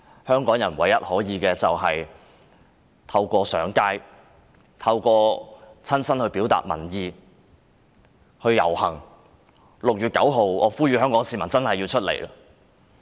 香港人唯一可以做的就是透過親身上街遊行表達民意，我呼籲香港市民務必在6月9日走出來。